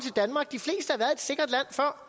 fra